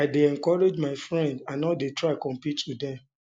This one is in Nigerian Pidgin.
i dey encourage my friends i no dey try compete wit dem